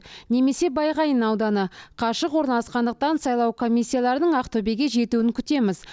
немесе байғаин ауданы қашық орналасқандықтан сайлау комиссияларының ақтөбеге жетуін күтеміз